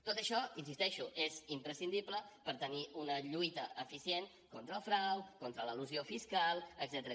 tot això hi insisteixo és imprescindible per tenir una lluita eficient contra el frau contra l’elusió fiscal etcètera